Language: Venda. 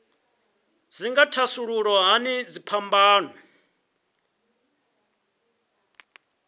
dzi nga thasulula hani dziphambano